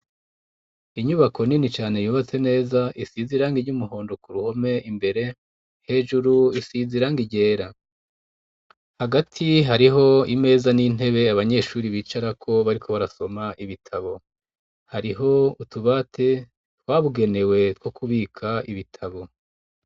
Inyubako nini cane yubatse neza isize irangi ry'umuhondo ku ruhome imbere, hejuru isize irangi ryera. Hagati hariho imeza n'intebe abanyeshure bicarako bariko barasoma ibitabo, hariho utubati twabugenewe two kubika ibitabo.